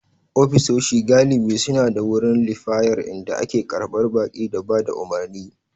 Ofisoshi galibi suna da wurin liyafar inda ake karɓar baƙi da ba da umarni.